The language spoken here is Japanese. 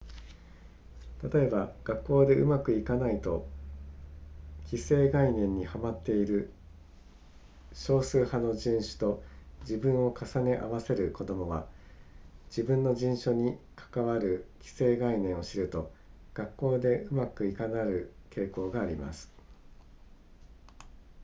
例えば学校でうまくいかないと既成概念にはまっている少数派の人種と自分を重ね合わせる子供は自分の人種に関わる既成概念を知ると学校でうまくいかなくなる傾向があります